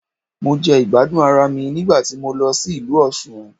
Mo jẹ ìgbádùn ara mi nígbà tí mo lọ sí ìlú Òsun